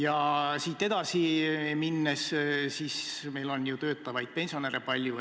Kui siit edasi minna, siis meil on ju töötavaid pensionäre palju.